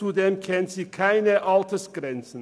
Zudem kennen sie keine Altersgrenzen.